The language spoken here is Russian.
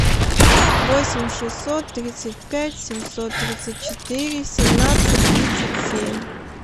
восемь шестьсот тридцать пять семьсот тридцать четыре семнадцать тридцать семь